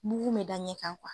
Bugun be da ɲɛ kan